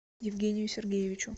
евгению сергеевичу